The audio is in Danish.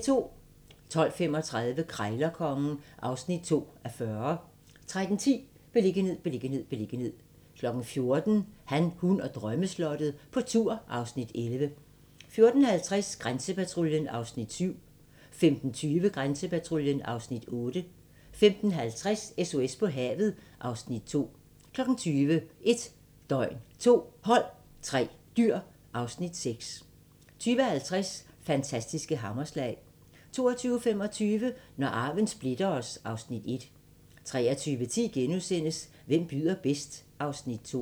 12:35: Krejlerkongen (2:40) 13:10: Beliggenhed, beliggenhed, beliggenhed 14:00: Han, hun og drømmeslottet - på tur (Afs. 11) 14:50: Grænsepatruljen (Afs. 7) 15:20: Grænsepatruljen (Afs. 8) 15:50: SOS på havet (Afs. 2) 20:00: 1 døgn, 2 hold, 3 dyr (Afs. 6) 20:50: Fantastiske hammerslag 22:25: Når arven splitter os (Afs. 1) 23:10: Hvem byder bedst? (Afs. 2)*